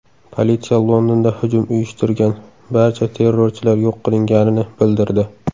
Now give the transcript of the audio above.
Politsiya Londonda hujum uyushtirgan barcha terrorchilar yo‘q qilinganini bildirdi.